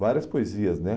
Várias poesias, né?